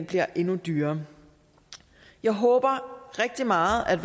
bliver endnu dyrere jeg håber rigtig meget at